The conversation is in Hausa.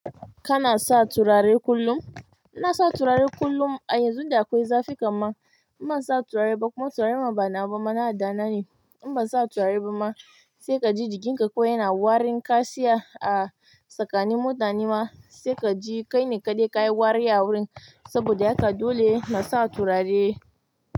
Kana sa turare kullum? Ina sa turare kullum. A yanzu da akwai zafi kaman in ban sa turare ba kuma turaren ma ba nawa ba mana da nan ne. In ban sa turare ba ma sai ka ji jikinka ko yana warin kashiya. A tsakani mutane ma sai ka ji kai ne kaɗai ka yi wari a wurin saboda haka dole na sa turare.